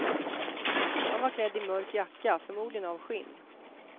Han var klädd i mörk jacka, förmodligen av skinn.